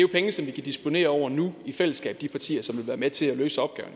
penge som vi kan disponere over nu i fællesskab de partier som vil være med til at løse opgaven